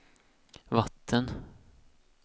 vatten